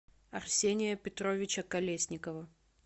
арсения петровича колесникова